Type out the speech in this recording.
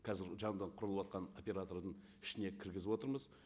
қазір жанынан құрылыватқан оператордың ішіне кіргізіп отырмыз